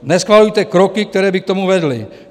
Neschvalujte kroky, které by k tomu vedly.